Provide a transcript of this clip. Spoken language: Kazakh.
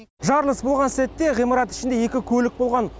жарылыс болған сәтте ғимарат ішінде екі көлік болған